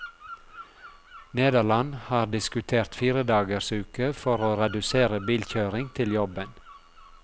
Nederland har diskutert fire dagers uke for å redusere bilkjøring til jobben.